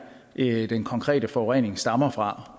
er den konkrete forurening stammer fra